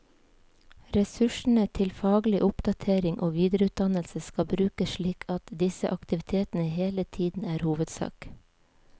Ressursene til faglig oppdatering og videreutdannelse skal brukes slik at disse aktivitetene hele tiden er hovedsak.